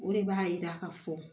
O de b'a yira ka fɔ